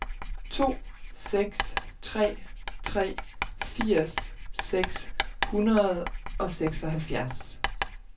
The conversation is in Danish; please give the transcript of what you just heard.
to seks tre tre firs seks hundrede og seksoghalvfjerds